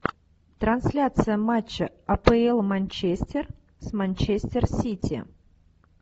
трансляция матча апл манчестер с манчестер сити